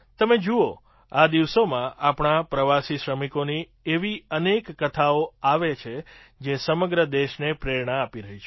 તમે જુઓ આ દિવસોમાં આપણા પ્રવાસી શ્રમિકોની એવી અનેક કથાઓ આવે છે જે સમગ્ર દેશને પ્રેરણા આપી રહી છે